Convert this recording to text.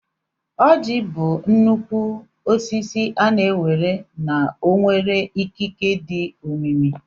Ọjị bụ nnukwu osisi a na-ewere na ọ nwere ikike dị omimi.